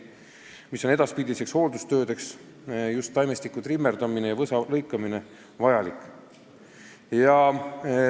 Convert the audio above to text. See riba aga on edaspidisteks hooldustöödeks ehk trimmerdamiseks ja võsa lõikamiseks vajalik.